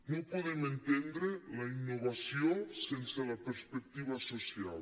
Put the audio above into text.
no podem entendre la innovació sense la perspectiva social